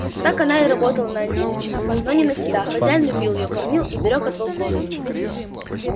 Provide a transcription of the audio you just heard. так она и работала на антипыча но не на себя хозяин любил её кормил и берёг от волков